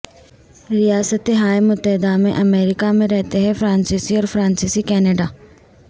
ریاستہائے متحدہ امریکہ میں رہتے ہیں فرانسیسی اور فرانسیسی کینیڈا